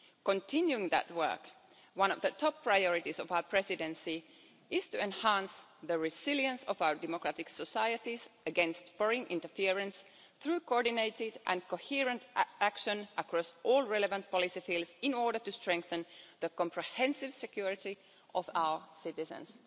Continuing that work, one of the top priorities of our presidency is to enhance the resilience of our democratic societies against foreign interference, through coordinated and coherent action across all relevant policy fields in order to strengthen the comprehensive security of our citizens.